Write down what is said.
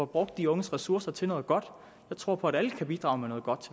brugt de unges ressourcer til noget godt jeg tror på at alle kan bidrage med noget godt